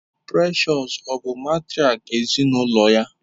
Precious ọ bụ matrịak ezinụlọ ya?